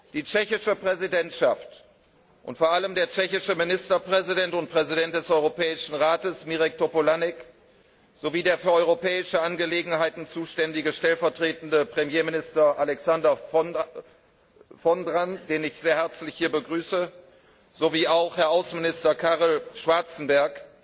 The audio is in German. Die tschechische Präsidentschaft und vor allem der tschechische Ministerpräsident und Präsident des Europäischen Rates, Mirek Topolánek, sowie der für Europäische Angelegenheiten zuständige stellvertretende Ministerpräsident, Alexandr Vondra, den ich sehr herzlich hier begrüße, sowie Herr Außenminister Karel Schwarzenberg